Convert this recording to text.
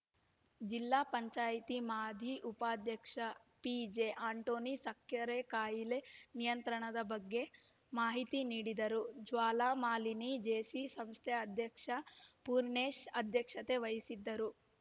ಜಿಲ್ಲಾ ಪಂಚಾಯಿತಿ ಮಾಜಿ ಉಪಾಧ್ಯಕ್ಷ ಪಿಜೆಆಂಟೋನಿ ಸಕ್ಕೆರೆ ಕಾಯಿಲೆ ನಿಯಂತ್ರದ ಬಗ್ಗೆ ಮಾಹಿತಿ ನೀಡಿದರು ಜ್ವಾಲಾಮಾಲಿನಿ ಜೇಸಿ ಸಂಸ್ಥೆ ಅಧ್ಯಕ್ಷ ಪೂರ್ಣೇಶ್‌ ಅಧ್ಯಕ್ಷತೆ ವಹಿಸಿದ್ದರು